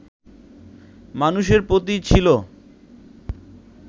মানুষের প্রতি ছিল